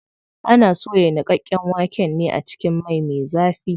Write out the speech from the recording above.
Ana soya niƙaƙƙen waken ne a cikin mai me zafi.